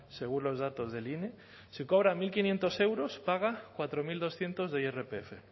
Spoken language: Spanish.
según los datos de ine si cobra mil quinientos euros paga cuatro mil doscientos de irpf